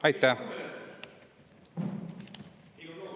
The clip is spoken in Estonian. Aitäh!